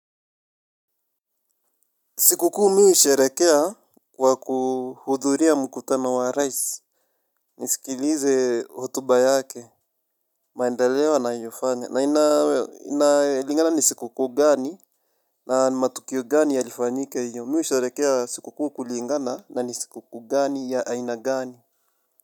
Sikuku mi husherekea kwa kuhudhuria mkutano wa Raisi. Nisikilize hotuba yake. Maendeleo anayofanya na inalingana ni siku kuu gani na matukio gani yalifanyike hiyo. Miwe husherekea siku kuu kulingana na ni siku kuu gani ya aina gani.